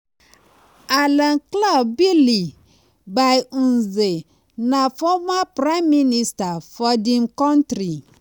alain claude bilie-by-nze na former prime minister for di um kontri.